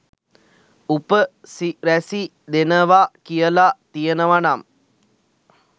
උප සිරැසි දෙනවා කියලා තියෙනවා නම්